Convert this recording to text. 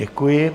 Děkuji.